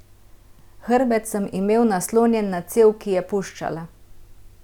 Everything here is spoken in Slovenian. Hrbet sem imel naslonjen na cev, ki je puščala.